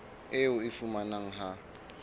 eo o e fumanang ha